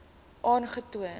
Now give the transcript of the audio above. aangetoon